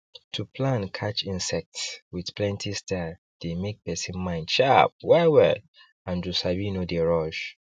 to plan catch insects with plenty style dey make person mind sharp well well and to sabi no dey rush